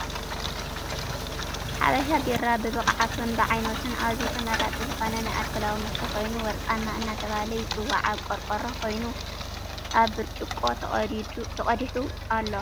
ሓበሻ ቢራ ብብቅዓቱን ብዓይነቱን ኣዝዩ ተመራፂ ዝኮነ ናይ ኣልኮላዊ መስተ ኮይኑ ወርቀማ እናተበሃለ ይፅዋዕ ኣብ ቆርቆሮ ኮይኑ ኣብ ብርጭቆ ተቀዲሑ ኣሎ።